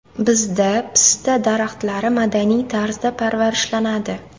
Bizda pista daraxtlari madaniy tarzda parvarishlanadi.